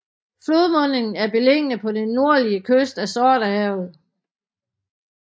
Flodmundingen er beliggende på den nordlige kyst af Sortehavet